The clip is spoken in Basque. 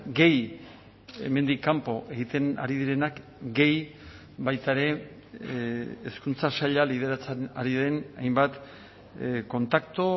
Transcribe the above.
gehi hemendik kanpo egiten ari direnak gehi baita ere hezkuntza saila lideratzen ari den hainbat kontaktu